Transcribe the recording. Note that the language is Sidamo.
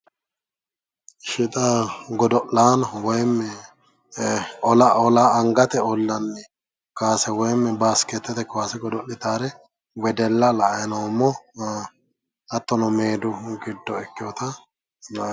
Ishshi xa godo'laano woyiimmi ola angate ollanni kaase woyiimmi baaskeettete kaase godo'litaare wedella la"ayi noommo hattono meedu giddo ikkeyoota la"anni.